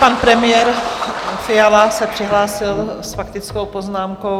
Pan premiér Fiala se přihlásil s faktickou poznámkou.